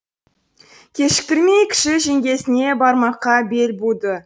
кешіктірмей кіші жеңгесіне бармаққа бел буды